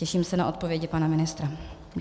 Těším se na odpovědi pana ministra.